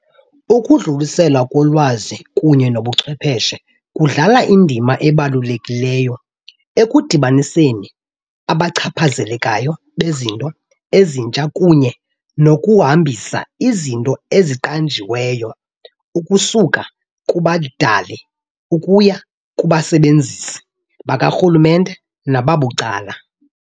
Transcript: Ukudluliselwa kolwazi kunye nobuchwepheshe kudlala indima ebalulekileyo ekudibaniseni abachaphazelekayo bezinto ezintsha kunye nokuhambisa izinto eziqanjiweyo ukusuka kubadali ukuya kubasebenzisi bakarhulumente nababucala.